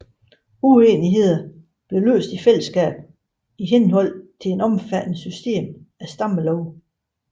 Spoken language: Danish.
Uenigheder blev løst i fællesskab i henhold til et omfattende system af stammelove